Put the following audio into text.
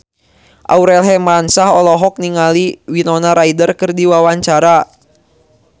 Aurel Hermansyah olohok ningali Winona Ryder keur diwawancara